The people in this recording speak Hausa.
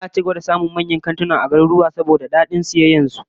Za'a ci gaba da samun karuwa manyan kantuna a garuruwa, saboda dadin sayayya da su